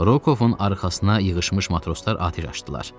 Rokovun arxasına yığışmış matroslar atəş açdılar.